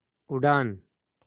उड़ान